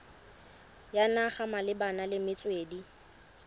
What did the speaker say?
ya naga malebana le metswedi